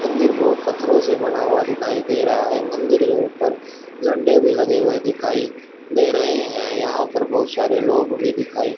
मंदिर को पत्थरों से बना हुआ दिखाई दे रहा है मंदिर के ऊपर झंडे भी लगे हुए दिखाई दे रहे हैं यहां पर बहुत सारे लोग भी दिखाई--